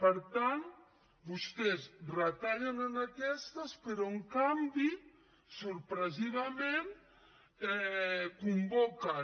per tant vostès retallen en aquestes però en canvi sorprenentment convoquen